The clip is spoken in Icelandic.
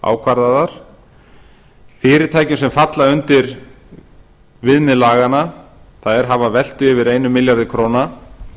ákvarðaðar fyrirtæki sem falla undir viðmið laganna hafa velt yfir einum milljarði króna